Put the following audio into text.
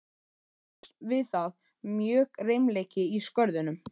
Óx við það mjög reimleiki í Skörðunum.